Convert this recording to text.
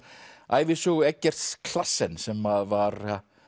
ævisögu Eggerts sem að var